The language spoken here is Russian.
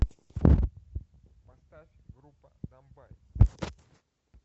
поставь группа домбай